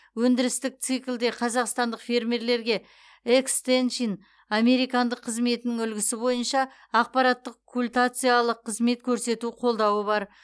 өндірістік циклде қазақстандық фермерлерге экстеншн американдық қызметінің үлгісі бойынша ақпараттық культациялық қызмет көрсету қолдауы бар